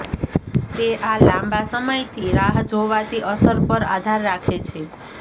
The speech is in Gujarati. તે આ લાંબા સમયથી રાહ જોવાતી અસર પર આધાર રાખે છે